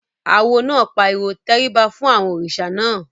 Awo náà pariwo "tẹríba fún àwọn òrìṣà náà!"